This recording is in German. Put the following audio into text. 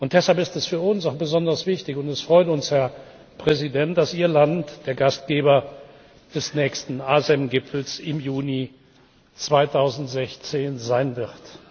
Deshalb ist es für uns auch besonders wichtig und es freut uns, Herr Präsident dass Ihr Land der Gastgeber des nächsten ASEM Gipfels im Juni 2016 sein wird.